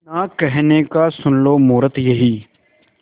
ना कहने का सुन लो मुहूर्त यही